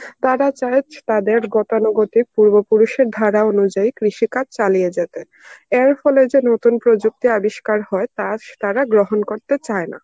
তারা চায় তাদের গতানুগতিক পূর্বপুরুষের ধারা অনুযায়ী কৃষিকাজ চালিয়ে যেতে. এর ফলে যে নতুন প্রযুক্তি আবিষ্কার হয় তা তারা গ্রহণ করতে চায় না.